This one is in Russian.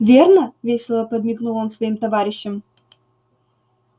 верно весело подмигнул он своим товарищам